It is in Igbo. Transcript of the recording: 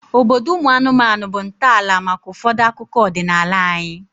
Obodo ụmụ anụmanụ bụ ntọala maka ụfọdụ akụkọ ọdịnala anyị